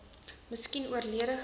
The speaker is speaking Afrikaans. miskien oorlede gewees